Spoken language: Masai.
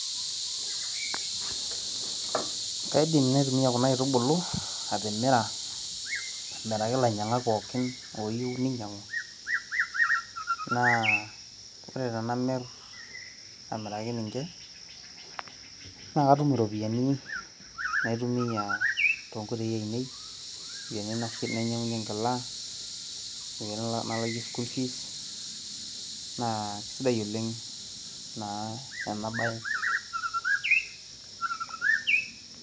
kaidim naitumia kuna aitubulu, atimira, amiraki ilainyiang'ak pookin ooyieu ninyiang'u. naa ore tenamir amiraki ninche naa katum iropiyiani naitumia too nkoitoi ainei, iropiyiani nainyaing'unye enkila, iropiyiani nalakie school fees, naa kisidai oleng ena bae.